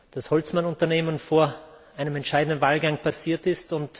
das Holzmann Unternehmen vor einem entscheidenden Wahlgang passiert ist.